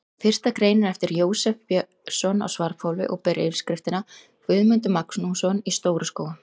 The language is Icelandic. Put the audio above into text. Fyrsta greinin er eftir Jósef Björnsson á Svarfhóli og ber yfirskriftina: Guðmundur Magnússon í Stóru-Skógum.